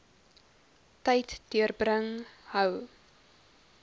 tyd deurbring hou